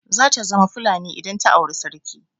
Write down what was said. Zata zama Fulani idan ta auri sarki.